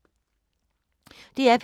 DR P3